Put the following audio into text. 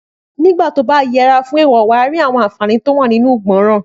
Nígbàtí ọ bá yẹra fún èèwò, wà rí àwọn àǹfàní tí ó wà nínú ìgbọràn